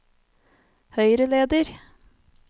høyreleder